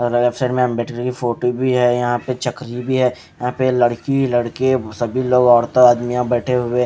अद्र्सल हम बेठे जगह फोटू भी है यहा पे चाकरी भी है यह पे लडकी लडके सभी लोग ओरते आदमी यहा बेठे हुए है।